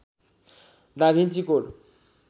दा Vinci code